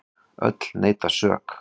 Öll neita sök.